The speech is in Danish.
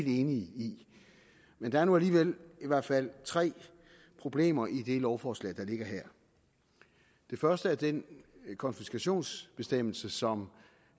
enige i men der er nu alligevel i hvert fald tre problemer i det lovforslag der ligger her det første er den konfiskationsbestemmelse som